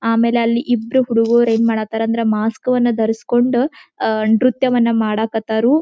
ಆಮೇಲೆ ಅಲ್ಲಿ ಇಬ್ಬರು ಹುಡುಗ್ರು ಏನ್ ಮಾಡಕ್ಕತರ ಅಂದ್ರೆ ಮಾಸ್ಕ ಅನ್ನು ದರಿಸ್ಕೊಂಡು ಅಹ್ ನೃತ್ಯವನ್ನು ಮಾಡಕ್ಕತ್ತರು